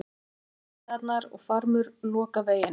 Flutningabifreiðarnar og farmur loka veginum